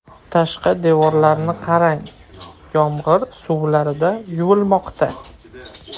Tashqi devorlarni qarang, yomg‘ir suvlarida yuvilmoqda.